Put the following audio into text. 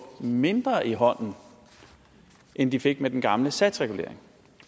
mindre i hånden end de fik med den gamle satsregulering